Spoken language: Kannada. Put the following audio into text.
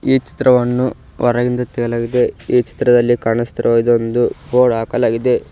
ಈ ಚಿತ್ರವನ್ನು ಹೊರಗಿಂದ ತೆಗೆಯಲಾಗಿದೆ ಈ ಚಿತ್ರದಲ್ಲಿ ಕಾಣಿಸ್ತಿರುವ ಇದೊಂದು ಬೋರ್ಡ್ ಹಾಕಲಾಗಿದೆ.